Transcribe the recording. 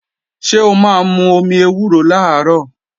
Ṣé o máa mú omi ewúro làárọ̀?